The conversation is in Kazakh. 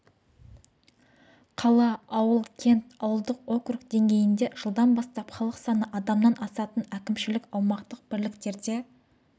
қала ауыл кент ауылдық округ деңгейінде жылдан бастап халық саны адамнан асатын әкімшілік аумақтық бірліктерде